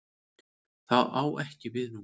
Það á ekki við nú.